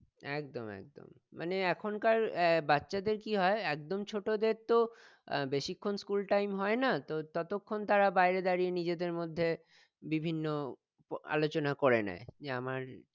একদম একদম মানে এখনকার আহ বাচ্চাদের কি হয় একদম ছোটদের তো আহ বেশিক্ষণ school time হয় না তো ততক্ষন তারা বাইরে সারিয়ে নিজেদের মধ্যে বিভিন্ন আলোচনা করে নেই যে আমার